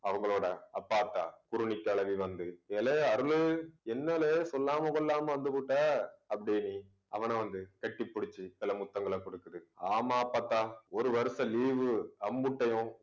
அவங்களோட அப்பா, ஆத்தா, குருணிக்கழவி வந்து, ஏலே அருளு என்னலே சொல்லாம கொள்ளாம வந்துப்புட்ட அப்படின்னி அவன வந்து, கட்டிப்பிடிச்சு சில முத்தங்களை கொடுக்குது. ஆமா அப்பத்தா, ஒரு வருஷம் leave உ அம்புட்டையும்